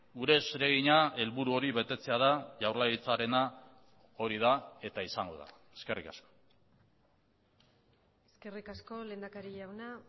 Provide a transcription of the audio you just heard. gure zeregina helburu hori betetzea da jaurlaritzarena hori da eta izango da eskerrik asko eskerrik asko lehendakari jauna